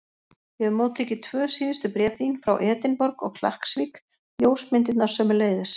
Ég hef móttekið tvö síðustu bréf þín, frá Edinborg og Klakksvík, ljósmyndirnar sömuleiðis.